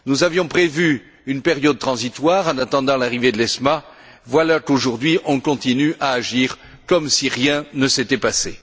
Nous avions prévu une période transitoire en attendant l'arrivée de l'ESMA, voilà qu'aujourd'hui on continue à agir comme si rien ne s'était passé.